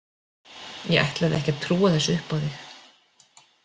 Ég ætlaði ekki að trúa þessu upp á þig.